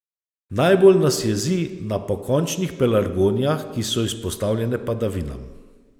Najbolj nas jezi na pokončnih pelargonijah, ki so izpostavljene padavinam.